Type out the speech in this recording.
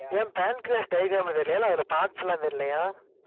ஏன் pancreas diagram தெரியலையா இல்லை, அதோட parts எல்லாம் தெரியலையா?